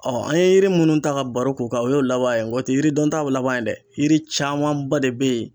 an ye yiri minnu ta ka baro k'o kan o ye o laban ye nga o tɛ yiri dɔntaw laban ye dɛ yiri camanba de bɛ ye.